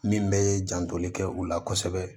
Min bɛ jantoli kɛ u la kosɛbɛ